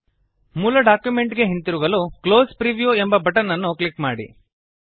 ಮೂಲ ಡಾಕ್ಯುಮೆಂಟ್ ಗೆ ಹಿಂತಿರುಗಲು ಕ್ಲೋಸ್ ಪ್ರಿವ್ಯೂ ಎಂಬ ಬಟನ್ ಅನ್ನು ಕ್ಲಿಕ್ ಮಾಡಿ